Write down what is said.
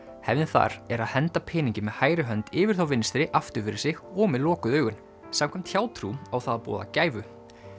hefðin þar er að henda peningi með hægri hönd yfir þá vinstri aftur fyrir sig og með lokuð augun samkvæmt hjátrú á það að boða gæfu